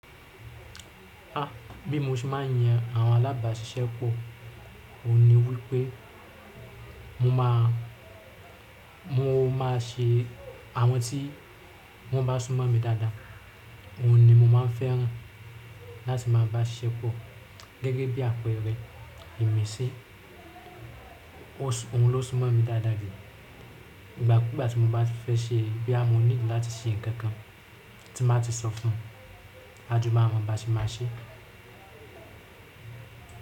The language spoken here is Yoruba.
Ah bí mo ṣe máa ń yan àwọn alábàáṣiṣẹ́pọ̀, òun ni wípé mo máa, mo má a ṣe àwọn tí wọ́n bá sún mọ̀ mi dáadáa. Òun ni mo má n fẹ́ràn láti máa bá ṣiṣẹ́ pọ. Gẹ́gẹ́ bí àpẹẹrẹ, Imisi, òun ló sún mọ̀ mi dáadáa jù. Ìgbà kúù gbá ti mo bá ti fẹ́ ṣe bóyá mọ̀ need láti ṣe nǹkan kan tí n bá ti sọ fún, a jọ ma mọ bá ti máa ṣe.